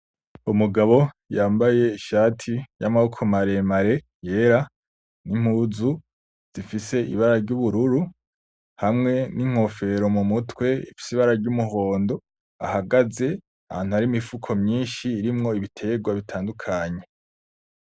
Umugabo yambaye ishati y'amaboko maremare yera n,impuzu zifise; ibara ry'ubururu, hamwe n'inkofero mumutwe ifise ibara ry'umuhondo ahagaze ahantu hari imifuko myinshi irimwo ibiterwa bitandukanye.